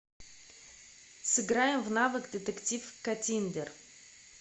сыграем в навык детектив каттиндер